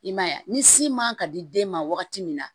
I man ye wa ni sin man ka di den ma wagati min na